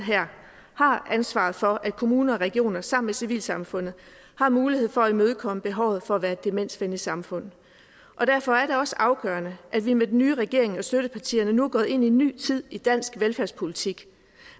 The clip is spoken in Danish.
ansvaret for at kommuner og regioner sammen med civilsamfundet har muligheden for at imødekomme behovet for at være et demensvenligt samfund og derfor er det også afgørende at vi med den nye regering og støttepartierne nu er gået ind i en ny tid i dansk velfærdspolitik